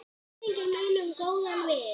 Minning mín um góðan vin.